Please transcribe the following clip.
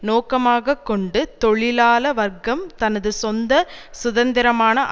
நோக்கமாக கொண்டு தொழிலாள வர்க்கம் தனது சொந்த சுதந்திரமான